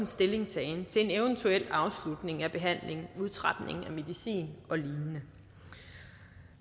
stillingtagen til en eventuel afslutning af behandlingen udtrapning af medicin og lignende